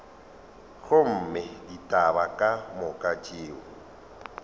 gomme ditaba ka moka tšeo